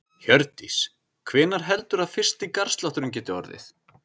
Hjördís: Hvenær heldurðu að fyrsti garðslátturinn geti orðið?